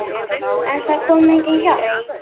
En það kom engin hjálp.